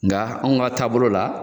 Nka anw ka taabolo la.